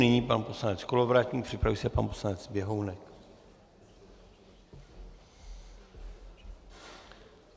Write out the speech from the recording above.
Nyní pan poslanec Kolovratník, připraví se pan poslanec Běhounek.